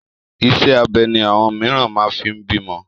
Iṣẹ́ abẹ ni àwọn mìíràn máa fi ń bímọ.